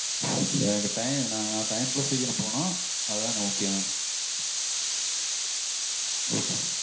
எனக்கு டை நா time -க்குள்ள சீக்கிரம் போகனும் அதுதா எனக்கு முக்கியமே